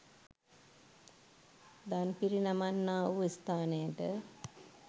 දන් පිරිනමන්නා වූ ස්ථානයට